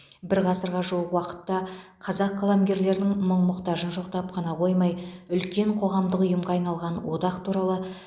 бір ғасырға жуық уақытта қазақ қаламгерлерінің мұң мұқтажын жоқтап қана қоймай үлкен қоғамдық ұйымға айналған одақ туралы